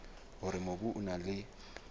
hore mobu o na le